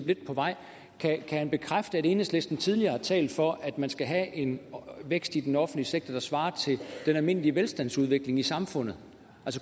lidt på vej bekræfte at enhedslisten tidligere har talt for at man skal have en vækst i den offentlige sektor der svarer til den almindelige velstandsudvikling i samfundet